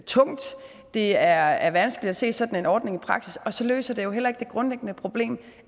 tungt det er er vanskeligt at se sådan en ordning i praksis og så løser det jo heller ikke det grundlæggende problem